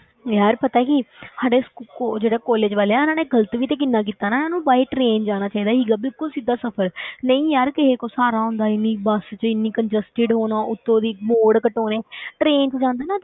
ਯਾਰ ਪਤਾ ਕੀ ਸਾਡੇ ਕਾਲ~ ਜਿਹੜੇ college ਵਾਲੇ ਆ ਇਹਨਾਂ ਨੇ ਗ਼ਲਤ ਵੀ ਤੇ ਕਿੰਨਾ ਕੀਤਾ ਨਾ, ਇਹਨੂੰ by train ਜਾਣਾ ਚਾਹੀਦਾ ਸੀਗਾ, ਬਿਲਕੁਲ ਸਿੱਧਾ ਸਫ਼ਰ ਨਹੀਂ ਯਾਰ ਕਿਸੇ ਕੋਲ ਸਹਾਰਾ ਹੁੰਦਾ ਇੰਨੀ ਬਸ ਵਿੱਚ ਇੰਨੀ congested ਹੋਣਾ, ਉੱਤੋਂ ਦੀ ਮੋਡ ਕੱਟ ਹੋਣੇ train ਵਿੱਚ ਜਾਂਦੇ ਨਾ,